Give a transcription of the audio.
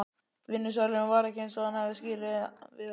Vinnusalurinn var ekki eins og hann hafði skilið við hann.